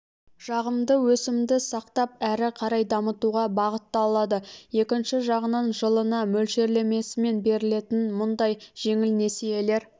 жағымды өсімді сақтап әрі қарай дамытуға бағыттталады екінші жағынан жылына мөлшерлемесімен берілетін мұндай жеңіл несиелер